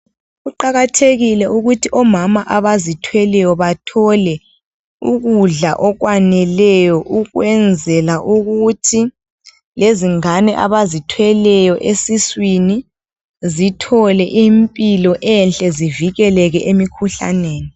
Kuqakathekile ukuthi omama abazithweleyo bathole ukudla okwaneleyo ukwenzela ukuthi lezingane abazithweleyo esiswini zithole impilo enhle zivikeleke emkhuhlaneni.